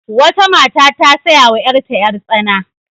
Wata mata ta saya wa yarta yar-tsana.